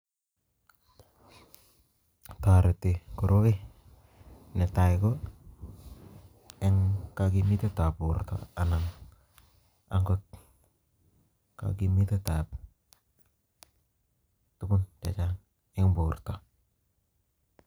Toretii koroi, netai ko en kokimitet ab borton anan ko kogimitetab tuguun chechang en borto